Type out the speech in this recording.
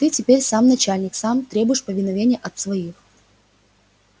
ты теперь сам начальник сам требуешь повиновения от своих